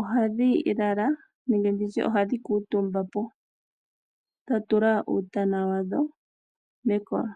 ohadhi lala nenge nditye ohadhi kuutumba po, dha tula uutana wadho mekolo.